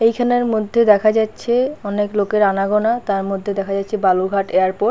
এইখানে মধ্যে দেখা যা-চ্ছে অনেক লোকের আনাগোনা। তার মধ্যে দেখা যাচ্ছে বালুরঘাট এয়ারপোর্ট ।